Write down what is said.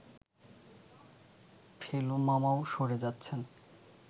ফেলু মামাও সরে যাচ্ছেন